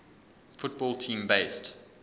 football team based